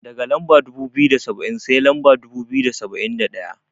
Daga Lamba dubu biyu da saba'in, sai lamba dubu biyu da saba'in da ɗaya.